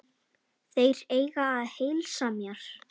Þeir eiga að heilsa mér.